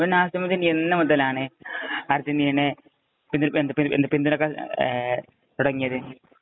അപ്പൊ നാസിമുദ്ദീന്‍ എന്നുമുതലാണ് അര്‍ജന്‍റീനയെ പിന്തുണയ്ക്കാന്‍ തുടങ്ങിയത്?